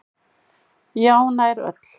Já, nær öll.